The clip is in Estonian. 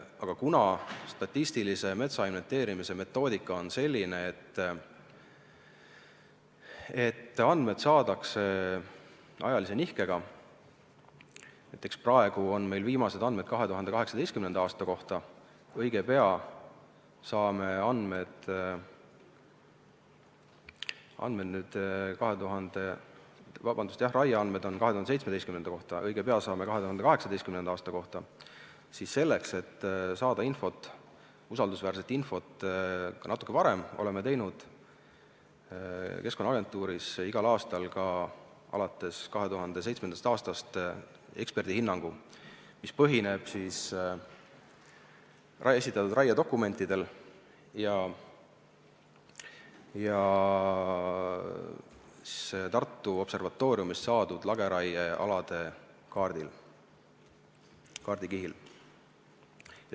Aga kuna statistilise metsainventeerimise metoodika on selline, et andmed saadakse ajalise nihkega – näiteks praegu on meil viimased raieandmed 2017. aasta kohta, õige pea saame andmed 2018. aasta kohta –, siis selleks, et saada usaldusväärset infot natuke varem, oleme Keskkonnaagentuuris alates 2007. aastast teinud igal aastal eksperdihinnangu, mis põhineb esitatud raiedokumentidel ja Tartu Observatooriumist saadud lageraiealade kaardil, kaardikihil.